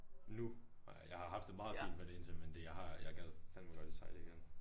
Nu har jeg jeg har haft det meget fint med det indtil men det jeg har jeg gad fandme godt at sejle igen